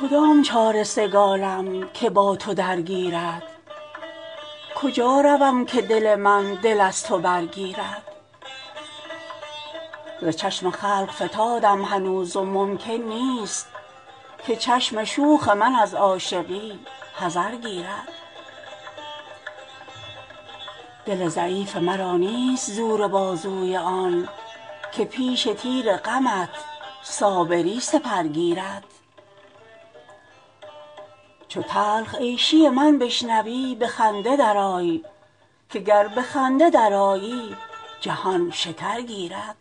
کدام چاره سگالم که با تو درگیرد کجا روم که دل من دل از تو برگیرد ز چشم خلق فتادم هنوز و ممکن نیست که چشم شوخ من از عاشقی حذر گیرد دل ضعیف مرا نیست زور بازوی آن که پیش تیر غمت صابری سپر گیرد چو تلخ عیشی من بشنوی به خنده درآی که گر به خنده درآیی جهان شکر گیرد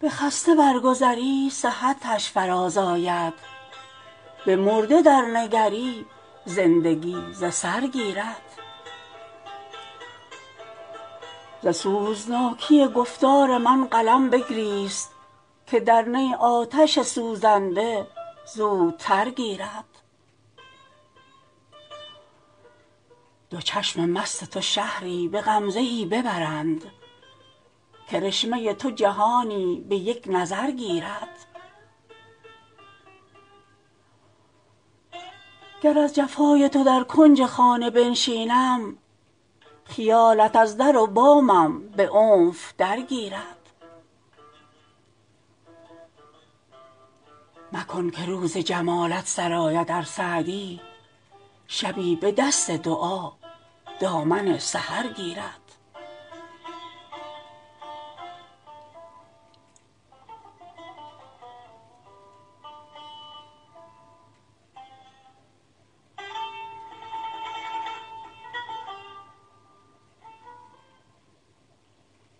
به خسته برگذری صحتش فرازآید به مرده درنگری زندگی ز سر گیرد ز سوزناکی گفتار من قلم بگریست که در نی آتش سوزنده زودتر گیرد دو چشم مست تو شهری به غمزه ای ببرند کرشمه تو جهانی به یک نظر گیرد گر از جفای تو در کنج خانه بنشینم خیالت از در و بامم به عنف درگیرد مکن که روز جمالت سر آید ار سعدی شبی به دست دعا دامن سحر گیرد